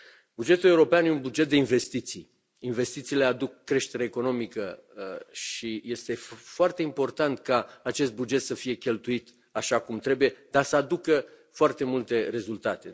Bugetul european e un buget de investiții, investițiile aduc creștere economică și este foarte important ca acest buget să fie cheltuit așa cum trebuie, dar să aducă foarte multe rezultate.